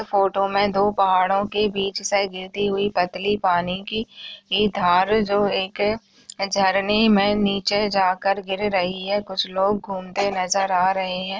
Photo में दो पहाड़ों के बीच से गिरती हुई पतली पानी की एक धार जो एक है झरने में नीचे जाकर गिर रही है कुछ लोग घूमते नजर आ रहे है।